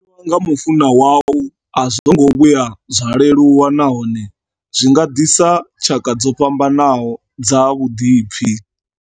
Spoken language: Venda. U xelelwa nga mufunwa wau a zwo ngo vhuya zwa leluwa nahone zwi nga ḓisa tshaka dzo fhambanaho dza vhuḓipfi.